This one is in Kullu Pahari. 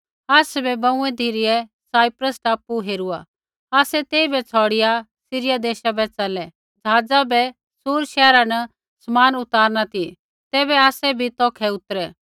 आसाबै बाँऊई धिरै साइप्रस टापू हेरूआ आसै तेइबै छ़ौड़िया सीरिया देशा बै च़लै ज़हाज़ा बै सूर शैहरा न समान उतारना ती तैबै आसै बी तौखै उतरै